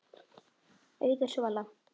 Auður Svala.